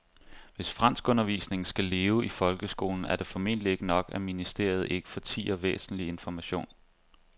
Hvis franskundervisningen skal leve i folkeskolen er det formentlig ikke nok, at ministeriet ikke fortier væsentlig information.